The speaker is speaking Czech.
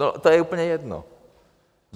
No to je úplně jedno.